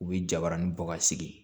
U bɛ jabarani bɔ ka sigi